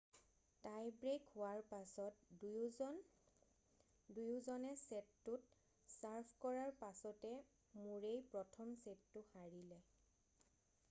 Tai break হোৱাৰ পাছত দুয়োজনে ছেটটোত ছাৰ্ভ কৰাৰ পাছতে মুৰেই প্ৰথম ছেটটো হাৰিলে